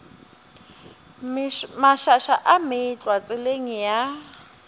mašaša a meetlwa tseleng ya